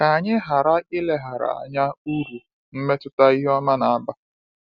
Ka anyị ghara ileghara anya uru mmetụta ihe ọma na-aba.